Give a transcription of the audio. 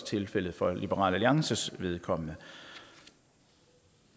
tilfældet for liberal alliances vedkommende